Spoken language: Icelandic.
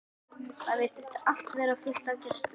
Það virtist allt vera fullt af gestum.